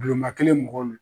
Bulonba kelen mɔgɔ